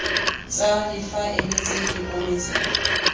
tsa difaele tse di onetseng